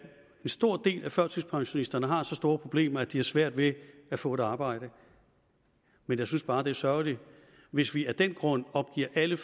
stor del af førtidspensionisterne har så store problemer at de har svært ved at få et arbejde men jeg synes bare det er sørgeligt hvis vi af den grund opgiver alle